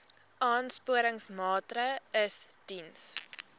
aansporingsmaatre ls diens